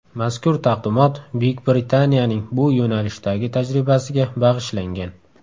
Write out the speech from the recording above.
Mazkur taqdimot Buyuk Britaniyaning bu yo‘nalishdagi tajribasiga bag‘ishlangan.